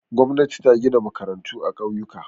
Gwamnati ta gina makarantu a ƙauyuka.